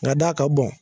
Nka d'a ka bɔn